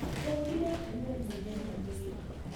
Hũrire nguo mũthenya mũgima